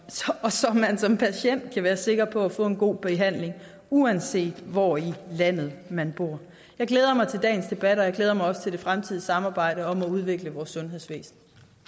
og så man som patient kan være sikker på at få en god behandling uanset hvor i landet man bor jeg glæder mig til dagens debat og jeg glæder mig også til det fremtidige samarbejde om at udvikle vores sundhedsvæsen